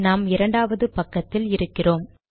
நாம் இரண்டவது பக்கத்தில் இருக்கிறோம்